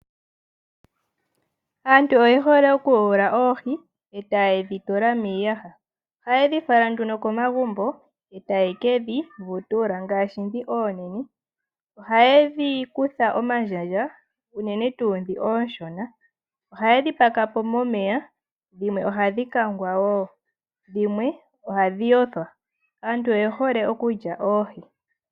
Aantu oye hole okuyula oohi, eta yidhituma miiyaha, ohaye dhi fala nduno komagumbo etayi kedhivutula ngaashi dhi oonene. Ohayi dhi kutha omandjandja uunene tu dhi ooshona. Ohayi dhipako po momeya, dhimwe ohadhi kangwa woo, dhimwe ohadhi yothwa. Aantu oye hole oku lya oohi.